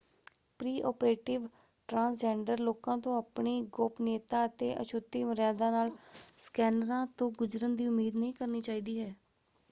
Pre-operative transgender ਲੋਕਾਂ ਤੋਂ ਆਪਣੀ ਗੋਪਨੀਯਤਾ ਅਤੇ ਅਛੁਤੀ ਮਰਿਆਦਾ ਨਾਲ ਸਕੈਨਰਾਂ ਤੋਂ ਗੁਜਰਨ ਦੀ ਉਮੀਦ ਨਹੀਂ ਕਰਨੀ ਚਾਹੀਦੀ ਹੈ।